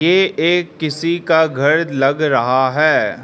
ये एक किसी का घर लग रहा है।